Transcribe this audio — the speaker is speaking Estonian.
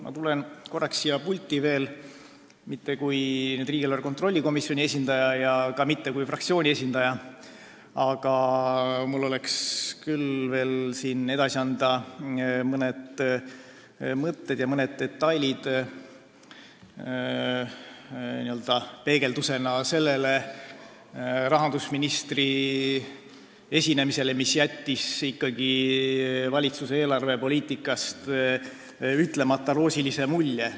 Ma tulen korraks veel siia pulti, kuid mitte kui riigieelarve kontrolli komisjoni esindaja ja ka mitte kui fraktsiooni esindaja, vaid mul on edasi anda mõned mõtted ja detailid n-ö peegeldusena rahandusministri esinemisele, mis jättis valitsuse eelarvepoliitikast ikkagi ütlemata roosilise mulje.